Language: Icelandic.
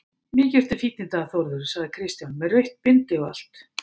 Mikið ertu fínn í dag Þórður, sagði Kristján, með rautt bindi og allt.